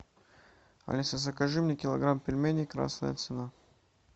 алиса закажи мне килограмм пельменей красная цена